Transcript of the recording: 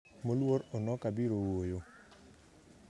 moluor onoka biro wuoyo